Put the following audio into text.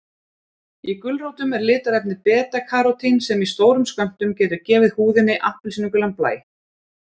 Í gulrótum er litarefnið beta-karótín sem í stórum skömmtum getur gefið húðinni appelsínugulan blæ.